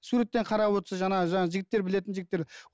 суреттен қарап отырса жаңағы жаңағы жігіттер білетін жігіттер